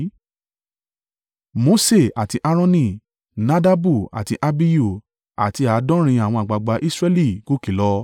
Mose àti Aaroni, Nadabu àti Abihu àti àádọ́rin àwọn àgbàgbà Israẹli gòkè lọ.